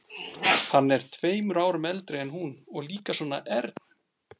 Hann er tveimur árum eldri en hún og líka svona ern.